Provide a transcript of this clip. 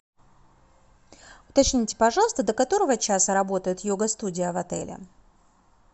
уточните пожалуйста до которого часа работает йога студия в отеле